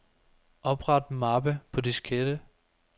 Opret mappe på diskette.